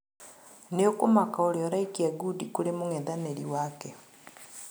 Nĩũkũmaka ũrĩa araikia ngundi kũrĩ mũng'ethanĩri wake